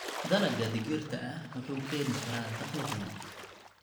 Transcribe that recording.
Dalagga digirta ah wuxuu keeni karaa dakhli badan.